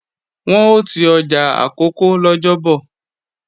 Wọn ò ti ọjà Àkókó lọ́jọ́bọ̀